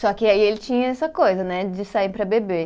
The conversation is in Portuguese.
Só que aí ele tinha essa coisa, né, de sair para beber.